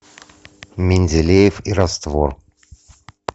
менделеев и раствор